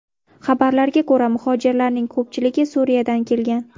Xabarlarga ko‘ra, muhojirlarning ko‘pchiligi Suriyadan kelgan.